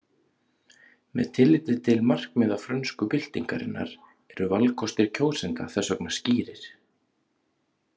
Með tilliti til markmiða frönsku byltingarinnar eru valkostir kjósenda þess vegna skýrir.